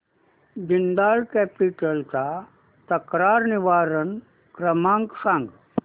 Jindal capital चा तक्रार निवारण क्रमांक सांग